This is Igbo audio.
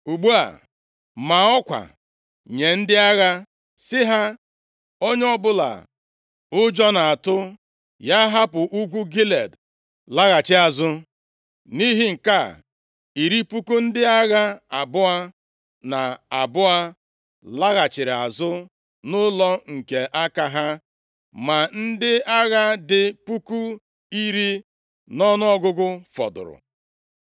Ugbu a, maa ọkwa nye ndị agha sị ha, ‘Onye ọbụla ụjọ na-atụ, ya hapụ ugwu Gilead laghachi azụ.’ ” Nʼihi nke a, iri puku ndị agha abụọ na abụọ laghachiri azụ nʼụlọ nke aka ha. Ma ndị agha dị puku iri nʼọnụọgụgụ fọdụrụ.